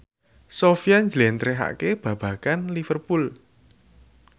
Sofyan njlentrehake babagan Liverpool